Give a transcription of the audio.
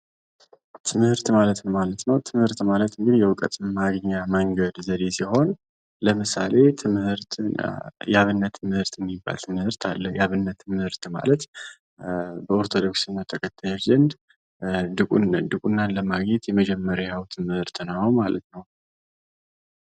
ትምህርት ማለት ምን ማለት ነው? ትምህርት ማለት እንግድህ የእውቀት ማግኛ መንገድ ዘዴ ሲሆን ለምሳሌ ትምህርትና የአብነት ትምህርት የሚባል ትምህርት አለ የአብነት ትምህርት ማለት በኦርቶዶክስ እምነት ተከታዮች ዘንድ ድቁናን ለማግኘት የመጀመሪያው ትምህርት ነው ማለት ነው።